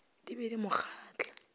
di be di mo kgahla